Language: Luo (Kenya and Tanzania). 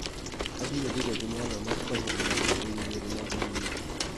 Abiro bedo gi nyalo mar konyo e mbaka e wi yore mag mbui